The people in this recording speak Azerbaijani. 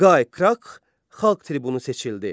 Qay Krah xalq tribunu seçildi.